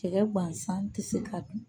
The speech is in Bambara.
Cɛkɛ gansan tɛ se ka dun